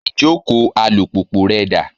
Ìjókòó alùpùpù rẹ dà?